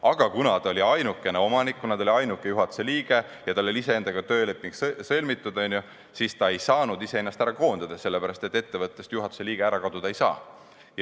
Aga kuna ta oli ainukene omanik, st ainuke juhatuse liige, ja tal oli tööleping sõlmitud iseendaga, siis ta ei saanud ise ennast ära koondada, sellepärast, et juhatuse liige ettevõttest ära kaduda ei saa.